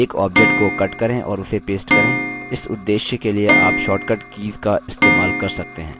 एक object को cut करें और उसे paste करें इस उद्देश्य के लिए आप short cut कीज़ का इस्तेमाल कर सकते हैं